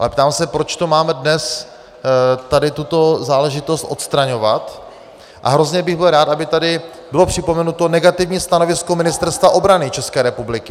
A ptám se, proč to máme dnes tady tuto záležitost odstraňovat, a hrozně bych byl rád, aby tady bylo připomenuto negativní stanovisko Ministerstva obrany České republiky...